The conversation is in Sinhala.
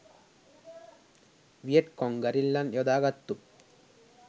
වියට්කොං ගරිල්ලන් යොදාගත්තු